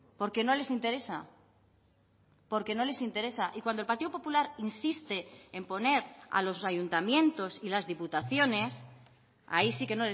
porque no les interesa porque no les interesa y cuando el partido popular insiste en poner a los ayuntamientos y las diputaciones ahí sí que